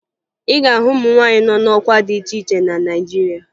Ị ga-ahụ ụmụ nwaanyị nọ n'ọkwa dị iche iche na Naịjirịa